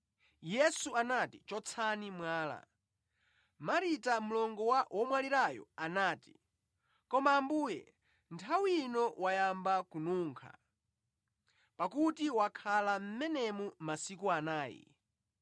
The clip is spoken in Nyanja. Yesu anati, “Chotsani mwala.” Marita mlongo wa womwalirayo anati, “Koma Ambuye, nthawi ino wayamba kununkha, pakuti wakhala mʼmenemu masiku anayi.”